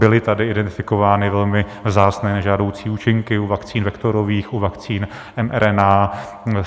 Byly tady identifikovány velmi vzácné nežádoucí účinky u vakcín vektorových, u vakcín mRNA.